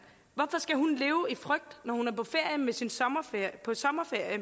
leve i frygt når hun er på sommerferie